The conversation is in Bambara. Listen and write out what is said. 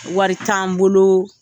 Wari t'an bolo